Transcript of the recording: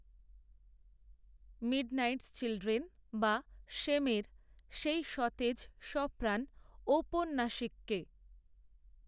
midnights children বা শেমএর সেই সতেজ সপ্রাণ ঔপন্যাসিককে